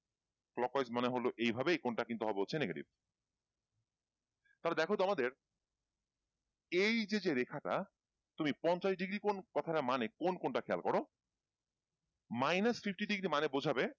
clockwise মানে হলো এইভাবে এই কোণটা হবে কিন্তু negative তাহলে দেখো তো আমাদের এই যে যেরেখা টা তুমি পঞ্চাশ degree কোণ কথাটার মানে কোন কোণটা খেয়াল করো minus fifty degree মানে বোঝাবে,